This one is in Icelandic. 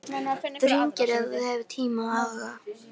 Þú hringir ef þú hefur tíma og áhuga.